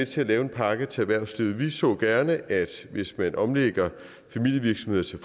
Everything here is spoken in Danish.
til at lave en pakke til erhvervslivet vi så gerne at hvis man omlægger familievirksomheder til